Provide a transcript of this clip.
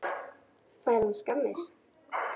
Fær hann skammir?